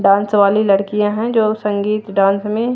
dance वाली लड़कियाँ हैं जो संगीत डांस में--